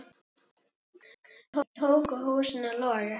Svo tóku húsin að loga.